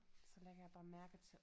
Så lægger jeg bare mærke til